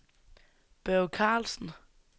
Børge Karlsen